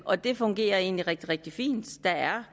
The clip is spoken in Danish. og det fungerer egentlig rigtig rigtig fint der er